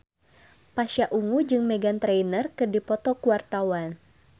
Pasha Ungu jeung Meghan Trainor keur dipoto ku wartawan